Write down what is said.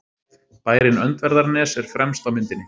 Bærinn Öndverðarnes er fremst á myndinni.